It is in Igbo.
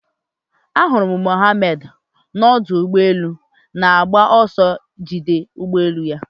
Ahụrụ m Mohammad n'ọdụ ụgbọ elu na-agba ọsọ iji jide ụgbọ elu ya